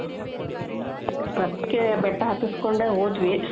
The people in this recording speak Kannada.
ಅದ್ಕೆ ಬೆಟ್ಟ ಹತ್ತುಸ್ಕೊಂಡೆ ಹೋದ್ವಿ